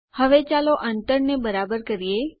હવે ચાલો અંતરને બરાબર કરીએ